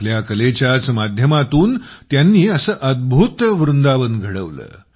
आपल्या कलेच्याच माध्यमातून त्यांनी अद्भूत असे वृंदावन घडवले